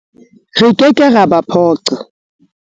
Re ke ke ra ba phoqa.